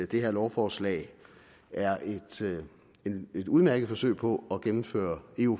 det her lovforslag er et udmærket forsøg på at gennemføre eu